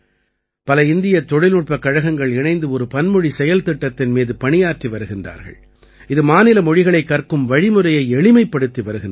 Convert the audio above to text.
பல இந்திய தொழில்நுட்பக் கழகங்கள் இணைந்து ஒரு பன்மொழி செயல்திட்டத்தின் மீது பணியாற்றி வருகின்றார்கள் இது மாநில மொழிகளைக் கற்கும் வழிமுறையை எளிமைப்படுத்தி வருகின்றது